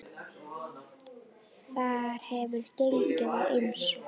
Þar hefur gengið á ýmsu.